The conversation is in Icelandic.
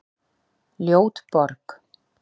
Ljót borg